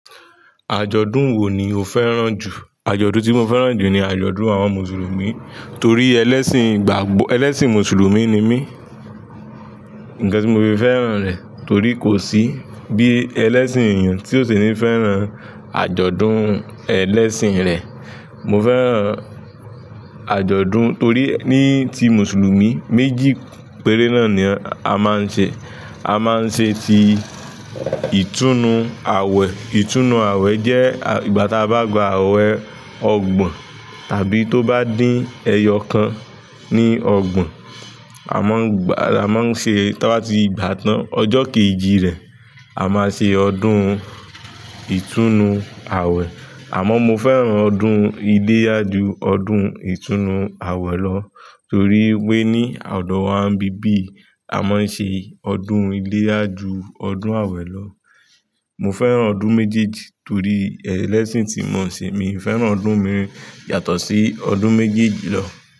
Àjọ̀dún wo ni o fẹ́ràn jù? Àjọ̀dún tí mo fẹ́ràn jù ni àjọ̀dún àwọn Mùsùlùmí torí ẹlẹ́sìn ìgbàgbọ́, ẹlẹ́sìn Mùsùlùmí ni mí. Nǹkan tí mo fi fẹ́ràn rẹ̀ torí kò sí bí ẹlẹ́sìn èèyàn tí ò ṣe ní fẹ́ràn àjọ̀dún ẹlẹ́sìn rẹ̀. Mo fẹ́ràn àjọ̀dún torí ní ti Mùsùlùmí méjì péré náà ni a máa ń ṣe. A máa ń ṣe ti ìtúnu àwẹ̀. Ìtúnu àwẹ̀ jẹ́ ìgbà ta bá gba àwẹ̀ ọgbọ̀n tàbí tó bá dín ẹyọ kan ní ọgbọ̀n, a máa ń gbà, a máa ń ṣe, táa bá ti gbà tán ọjọ́ kejì rẹ̀, a máa ṣe ọdún ìtúnu àwẹ̀. Àmọ́ mo fẹ́ràn ọdún iléyá ọdún ìtúnu àwẹ̀ lọ torí pé ní ọ̀dọ̀ wa bíbí, a máa ń ṣe ọdún iléyá jù ọdún àwẹ̀ lọ. Mo fẹ́ràn ọdún méjejì torí ẹlẹ́sìn tí mò ń ṣe. Mi ò fẹ́ràn ọdún mi yàtọ̀ sí ọdún méjejì lọ.